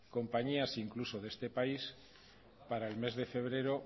compañías incluso de este país para el mes de febrero